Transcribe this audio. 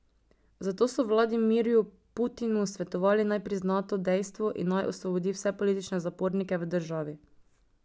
Zato so Vladimirju Putinu svetovali, naj prizna to dejstvo in naj osvobodi vse politične zapornike v državi.